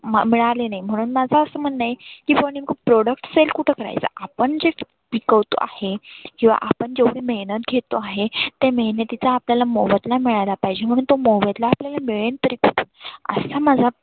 म मिळाले नाही. म्हणून माझ असं म्हणनं आहे की बुआ नेमक product sell कुठे करायचा? आपण जे पिकवतो आहे. किंवा आपण जेव्हढी मेहनत घेतो आहे त्या मेहनतीचा आपल्याला मोबदला मिळायला पाहिजे. म्हणून तो मोबदला आपल्याला मिळेल तरी कसा. असा माझा